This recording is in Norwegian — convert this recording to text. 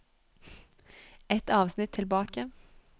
Ett avsnitt tilbake